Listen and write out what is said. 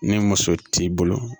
Ni muso t'i bolo